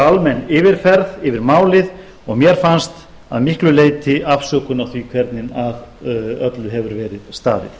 almenn yfirferð yfir málið og mér fannst að miklu leyti afsökun á því hvernig að öllu hefur verið staðið